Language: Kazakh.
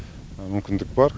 мүмкіндік бар